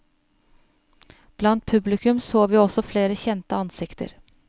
Blant publikum så vi også flere kjente ansikter.